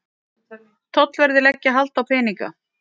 Tollverðir leggja hald á peninga